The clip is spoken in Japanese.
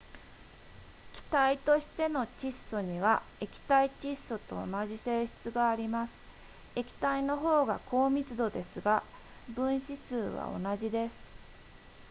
気体としての窒素には液体窒素と同じ性質があります液体の方が高密度ですが分子数は同じです